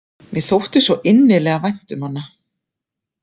Mér þótti svo innilega vænt um hana.